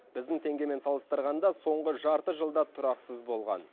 біздің теңгемен салыстырғанда соңғы жарты жылда тұрақсыз болған